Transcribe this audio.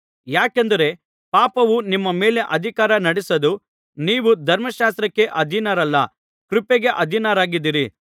ಯಾಕೆಂದರೆ ಪಾಪವು ನಿಮ್ಮ ಮೇಲೆ ಅಧಿಕಾರ ನಡೆಸದು ನೀವು ಧರ್ಮಶಾಸ್ತ್ರಕ್ಕೆ ಅಧೀನರಲ್ಲ ಕೃಪೆಗೆ ಅಧೀನರಾಗಿದ್ದೀರಿ